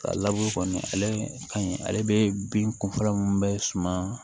A laburu kɔni ale ka ɲi ale bɛ bin kunfɔlɔ min bɛ suma